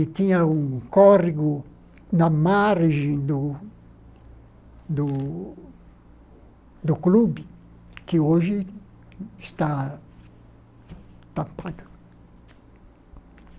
e tinha um córrego na margem do do do clube, que hoje está tapado.